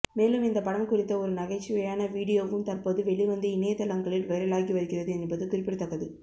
மேலும் இந்த படம் குறித்த ஒரு நகைச்சுவையான வீடியோவும் தற்போது வெளிவந்து இணையதளங்களில் வைரலாகி வருகிறது என்பது குறிப்பிடத்தக்கது